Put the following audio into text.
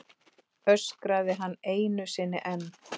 öskraði hann einu sinni enn.